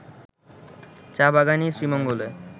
চা-বাগানই শ্রীমঙ্গলে